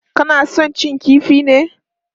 Kana son cin kifi ne?